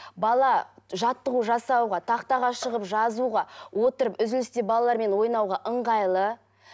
бала жаттығу жасауға тақтаға шығып жазуға отырып үзілісте балалармен ойнауға ыңғайлы